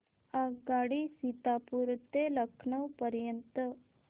आगगाडी सीतापुर ते लखनौ पर्यंत